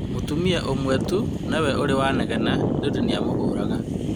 Mũtumia ũmwe tu nowe urĩ wanegena nĩũndũ nĩamũhũraga